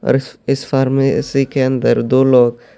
اور اس اس فارمیسی کے اندر دو لوگ--